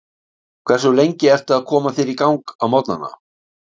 Hversu lengi ertu að koma þér í gang á morgnana?